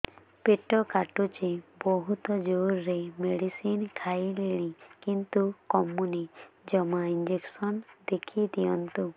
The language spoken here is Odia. ପେଟ କାଟୁଛି ବହୁତ ଜୋରରେ ମେଡିସିନ ଖାଇଲିଣି କିନ୍ତୁ କମୁନି ଜମା ଇଂଜେକସନ ଲେଖିଦିଅନ୍ତୁ